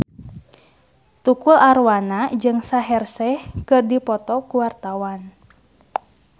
Tukul Arwana jeung Shaheer Sheikh keur dipoto ku wartawan